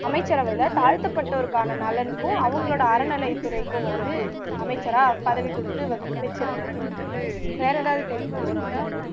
அமைச்சரவையில தாழ்த்தப்பட்டோருக்கான நலனுக்கும் அவங்களோட அறநிலை துறைக்கும் வந்து அமைச்சரா பதவி குடுத்து வைச்சிருந்தாங்க வேற எதாவது தெரியுமா ஜீவிதா